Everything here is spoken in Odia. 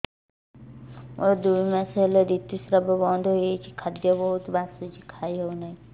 ମୋର ଦୁଇ ମାସ ହେଲା ଋତୁ ସ୍ରାବ ବନ୍ଦ ହେଇଯାଇଛି ଖାଦ୍ୟ ବହୁତ ବାସୁଛି ଖାଇ ହଉ ନାହିଁ